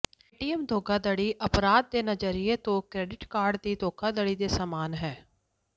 ATM ਧੋਖਾਧੜੀ ਅਪਰਾਧਕ ਦੇ ਨਜ਼ਰੀਏ ਤੋਂ ਕ੍ਰੈਡਿਟ ਕਾਰਡ ਦੀ ਧੋਖਾਧੜੀ ਦੇ ਸਮਾਨ ਹੈ